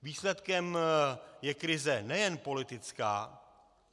Výsledkem je krize nejen politická.